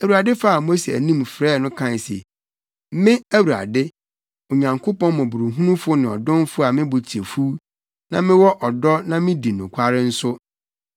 Awurade faa Mose anim frɛɛ no kae se, “Me, Awurade, Onyankopɔn mmɔborɔhunufo ne ɔdomfo a me bo kyɛ fuw na mewɔ ɔdɔ na midi nokware nso;